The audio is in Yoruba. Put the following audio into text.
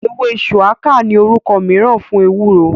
Ewé ṣuwaka ní orúkọ mìíràn fún ewúro